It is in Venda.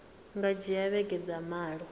nga dzhia vhege dza malo